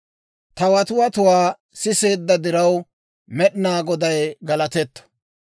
Ta watiwatuwaa siseedda diraw, Med'inaa Goday galatetto.